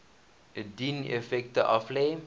dien effekte aflê